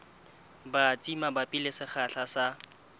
batsi mabapi le sekgahla sa